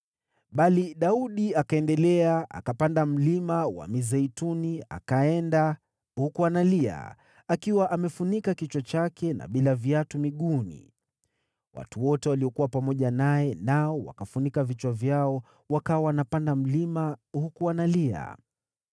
Bali Daudi akaendelea, akapanda Mlima wa Mizeituni, akaenda huku analia, akiwa amefunika kichwa chake na bila viatu miguuni. Watu wote waliokuwa pamoja naye nao wakafunika vichwa vyao, wakawa wanapanda mlima huku wanalia.